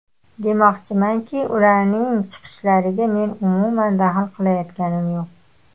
Demoqchimanki, ularning chiqishlariga men umuman daxl qilayotganim yo‘q.